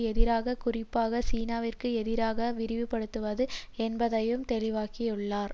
எதிராக குறிப்பாக சீனாவிற்கு எதிராக விரிவுபடுத்துவது என்பதையும் தெளிவாக்கியுள்ளார்